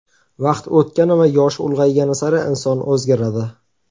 Vaqt o‘tgani va yoshi ulg‘aygani sari inson o‘zgaradi.